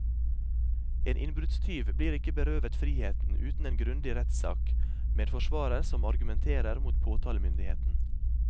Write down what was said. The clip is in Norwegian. En innbruddstyv blir ikke berøvet friheten uten en grundig rettssak, med forsvarer som argumenterer mot påtalemyndigheten.